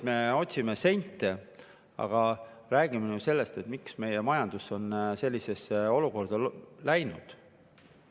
Me otsime sente, aga räägime ju sellest, miks meie majandus on sellisesse olukorda.